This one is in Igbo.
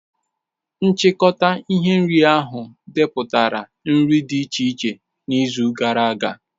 Nchịkọta ihe nri ahụ depụtara nri dị iche iche n'izu gara aga.